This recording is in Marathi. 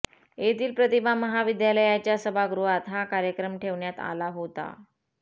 येथील प्रतिभा महाविद्यालयाच्या सभागृहात हा कार्यक्रम ठेवण्यात आला होता